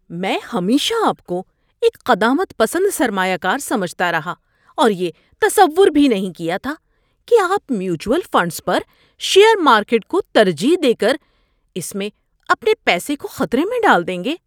میں ہمیشہ آپ کو ایک قدامت پسند سرمایہ کار سمجھتا رہا اور یہ تصور بھی نہیں کیا تھا کہ آپ میوچوئل فنڈز پر شیئر مارکیٹ کو ترجیح دے کر اس میں اپنے پیسے کو خطرے میں ڈال دیں گے۔